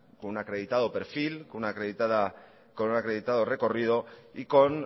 con un acreditado perfil con un acreditado recorrido y con